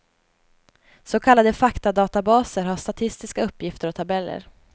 Så kallade faktadatabaser har statistiska uppgifter och tabeller.